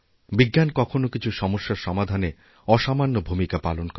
বিজ্ঞান কখনো কিছু সমস্যার সমাধানে অসামান্য ভূমিকা পালনকরে